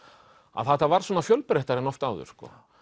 að þetta varð svona fjölbreyttara en oft áður